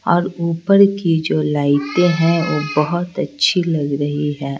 और ऊपर की जो लाइटें हैं वो बहुत अच्छी लग रही है।